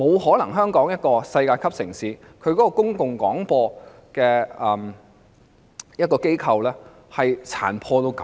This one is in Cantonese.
香港作為世界級城市，它的公共廣播機構是不可能如此殘破的。